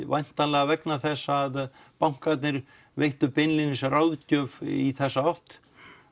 væntanlega vegna þess að bankarnir veittu beinlínis ráðgjöf í þessa átt